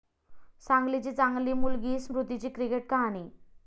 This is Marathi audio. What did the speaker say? सांगलीची 'चांगली' मुलगी स्मृतीची क्रिकेट कहाणी